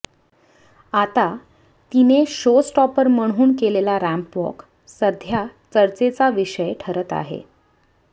आता तिने शोजस्टॉपर म्हणून केलेला रॅम्पवॉक सध्या चर्चेचा विषय ठरत आहे